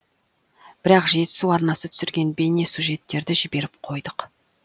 бірақ жетісу арнасы түсірген бейнесюжеттерді жіберіп қойдық